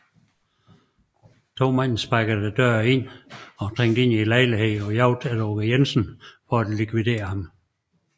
To mænd sparkede så døren ind og trængte ind i lejligheden på jagt efter Aage Jensen for at likvidere ham